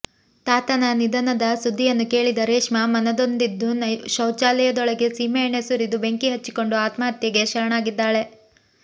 ತಾತನ ನಿಧನದ ಸುದ್ದಿಯನ್ನು ಕೇಳಿದ ರೇಷ್ಮಾ ಮನನೊಂದಿದ್ದು ಶೌಚಾಲಯ ದೊಳಗೆ ಸೀಮೆ ಎಣ್ಣೆ ಸುರಿದು ಬೆಂಕಿ ಹಚ್ಚಿಕೊಂಡು ಆತ್ಮಹತ್ಯೆಗೆ ಶರಣಾಗಿದ್ದಾಳೆ